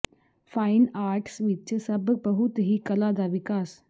fine arts ਵਿਚ ਸਭ ਬਹੁਤ ਹੀ ਕਲਾ ਦਾ ਵਿਕਾਸ